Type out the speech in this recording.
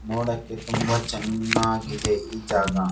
ನೋಡಕ್ಕೆ ತುಂಬಾ ಚೆನ್ನಾಗಿದೆ ಈ ಜಾಗ.